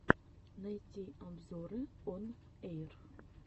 найти обзоры он эйр